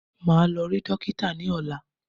Màá lọ rí dókítà ní ọ̀lá.